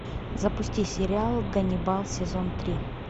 запусти сериал ганнибал сезон три